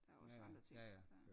Der er jo også andre ting